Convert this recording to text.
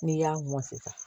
N'i y'a mɔn sisan